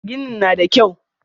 Ginin na da kyau.